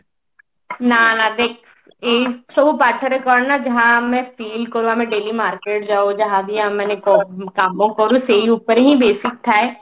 ନା ନା କଣ ନା ଦେଖ ଏଇ ସବୁ ପାଠରେ କଣ ନା ଯାହା ଆମେ feel କରୁ ଆମେ daily market ଯାଉ ଯାହାବି ଆମେ ମାନେ କ କାମ କରୁସେଇ ଉପରେ ହିଁ basic ଥାଏ